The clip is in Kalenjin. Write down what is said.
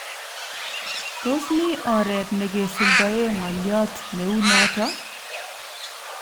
Tos mi oret nekesuldae ng'olyot neuu noto .